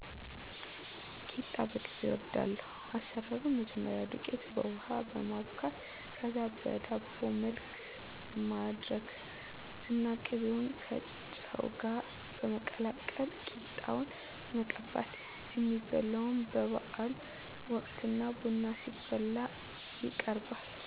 ቂጣ በቅቤ እወዳለሁ። አሰራሩም መጀመሪያ ዱቄት በውሀ በማቡካት ከዛ በዳቦ መልክ ማድረግ እና ቅቤውን ከጨው ጋር በማቀላቀል ቂጣውን መቀባት የሚበላውም በባዓል ወቅት እና ቡና ሲፈላ ይቀርባል።